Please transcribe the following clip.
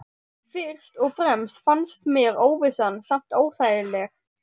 Fyrst og fremst fannst mér óvissan samt óþægileg.